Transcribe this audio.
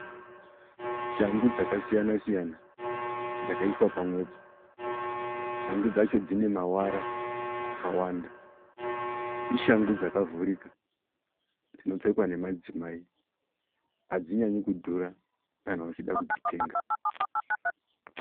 Shangu dzakasiyana-siyana dzakaiswa pamwepo. Shangu dzacho dzine mavara akawanda. Ishangu dzakavhurika dzinopfekwa nemadzimai. Hadzinyanyi kudhura kana uchida kudzitenga.